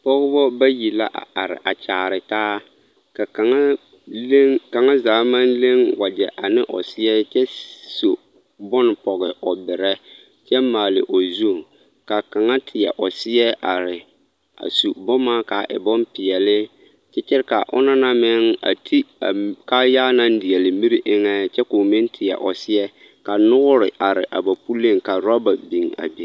Pɔgebɔ bayi la a are a kyaare taa ka kaŋa leŋ, kaŋa zaa maŋ leŋ wagyɛ ane o seɛ kyɛ su bone pɔge o berɛ kyɛ maale o zu, k'a kaŋa teɛ o seɛ are a su boma k'a e bompeɛle kyɛ kyɛre k'a onaŋ na meŋ a ti a kaayaa naŋ deɛle miri eŋɛ kyɛ k'o meŋ teɛ o seɛ ka noore are a ba puliŋ ka raba biŋ.